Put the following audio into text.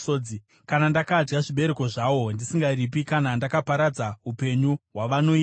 kana ndakadya zvibereko zvawo ndisingaripi, kana ndakaparadza upenyu hwavanourima,